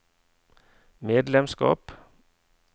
medlemskap